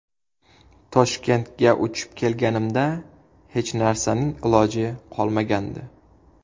Toshkentga uchib kelganimda hech narsaning iloji qolmagandi.